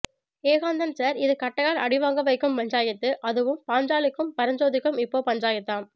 Ekanthan sir இது கட்டையால் அடி வாங்க வைக்கும் பஞ்சாயத்து அதுவும் பாஞ்சாலிக்கும் பரஞ்சோதிக்கும் இப்போ பஞ்சாயத்தாம்